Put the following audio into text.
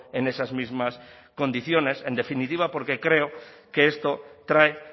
en esas mismas condiciones en definitiva porque creo que esto trae